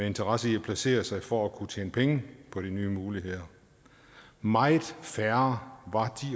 interesser i at placere sig for at kunne tjene penge på de nye muligheder meget færre